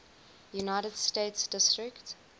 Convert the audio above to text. united states district